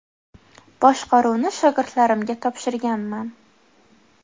Boshqaruvni shogirdlarimga topshirganman.